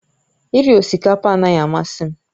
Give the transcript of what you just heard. Iri osikapa anaghị amasị m